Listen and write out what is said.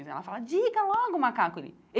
Ela fala, diga logo, macaco ele.